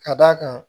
Ka d'a kan